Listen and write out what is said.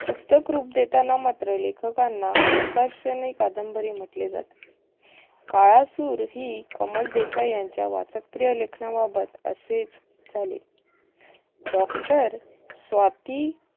पुस्तक रूप देताना मात्र लेखकांना प्रकाशनी कादंबरी म्हटले जाते. काळासूर, ही प्रमोद देसाई यांच्या वाचकप्रिय लेखनाबाबत असेच झाले. doctor स्वाती